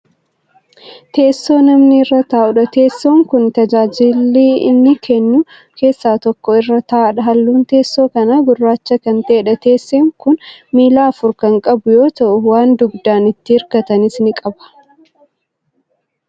Teessoo namni irra taa'udha. teessoon Kuni tajaajila inni kennu keessaa tokko irra taa'dha. halluun teessoo kanaa gurraacha Kan ta'eedha. teessoon Kun miila afur Kan qabu yoo ta'u waan dugdaan itti hirkatanis ni qaba.